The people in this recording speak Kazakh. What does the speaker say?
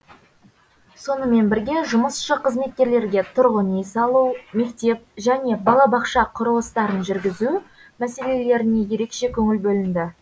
сонымен бірге жұмысшы қызметкерлерге тұрғын үй салу мектеп және балабақша құрылыстарын жүргізу мәселелеріне ерекше көңіл бөлінді